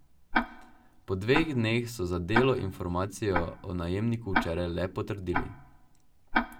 Po dveh dneh so za Delo informacijo o najemniku včeraj le potrdili.